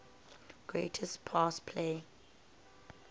greatest pass play